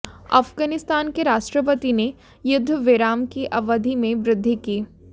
अफगानिस्तान के राष्ट्रपति ने युद्धविराम की अवधि में वृद्धि की